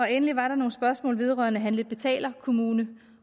endelig var der nogle spørgsmål vedrørende handle og betalerkommuner